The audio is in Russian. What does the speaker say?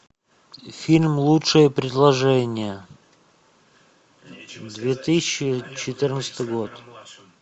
фильм лучшее предложение две тысячи четырнадцатый год